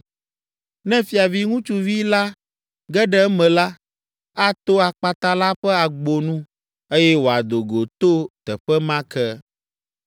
Ne fiavi ŋutsuvi la ge ɖe eme la, ato akpata la ƒe agbo nu, eye wòado go to teƒe ma ke.